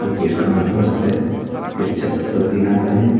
इसका मालिक हो सकता है फिर छात तो टिना का है।